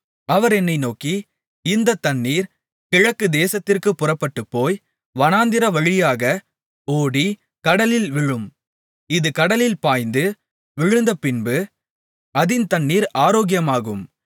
அவர் என்னை நோக்கி இந்தத் தண்ணீர் கிழக்குதேசத்திற்குப் புறப்பட்டுப்போய் வனாந்திரவழியாக ஓடி கடலில் விழும் இது கடலில் பாய்ந்து விழுந்தபின்பு அதின் தண்ணீர் ஆரோக்கியமாகும்